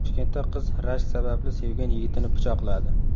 Toshkentda qiz rashk sababli sevgan yigitini pichoqladi.